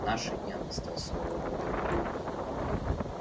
в наши дни она стала своего рода религией